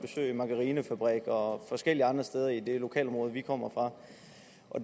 margarinefabrikker og forskellige andre steder i det lokalområde vi kommer fra